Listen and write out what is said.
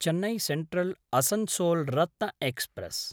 Chennai सेन्ट्रल्–असन्सोल् Ratna express